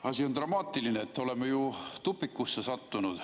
Asi on dramaatiline, oleme ju tupikusse sattunud.